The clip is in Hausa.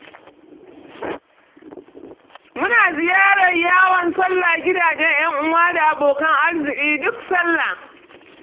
Muna ziyarar yawon salla gidajen ƴan'uwa da abokan arziki duk salla.